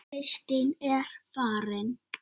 Kristín er farin